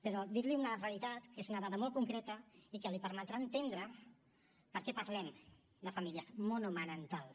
però dir li una realitat que és una dada molt concreta i que li permetrà entendre per què parlem de famílies monomarentals